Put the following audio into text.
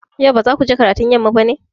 Yau ba za ku je karatun yamma ba ne?